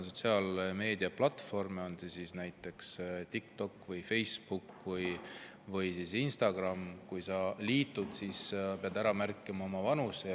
Sotsiaalmeediaplatvormidega, näiteks TikToki, Facebooki või Instagramiga liitudes pead sa ära märkima oma vanuse.